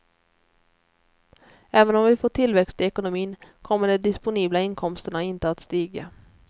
Även om vi får tillväxt i ekonomin kommer de disponibla inkomsterna inte att stiga.